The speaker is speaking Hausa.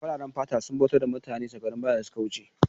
Fararen fata sun bautar da mutane a shekarun baya da suka wuce